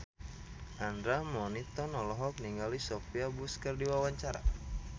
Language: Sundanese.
Andra Manihot olohok ningali Sophia Bush keur diwawancara